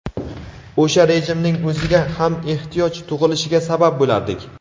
o‘sha rejimning o‘ziga ham ehtiyoj tug‘ilishiga sabab bo‘lardik.